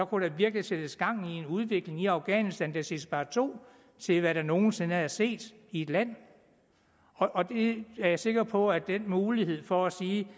kunne der virkelig sættes gang en i udvikling i afghanistan der ville sige sparto til hvad der nogen sinde er set i et land jeg er sikker på at den mulighed for at sige